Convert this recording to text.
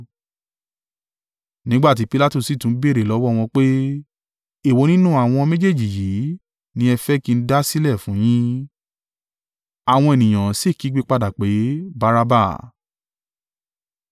Nígbà tí Pilatu sì tún béèrè lọ́wọ́ wọn pé, “Èwo nínú àwọn méjèèjì yìí ni ẹ̀ ń fẹ́ kí n dá sílẹ̀ fún yín?” Àwọn ènìyàn sì kígbe padà pé, “Baraba!”